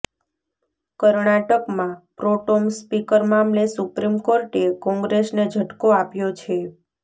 કર્ણાટકમાં pro tem speaker મામલે supreme કોર્ટે કોંગ્રેસને ઝટકો આપ્યો છે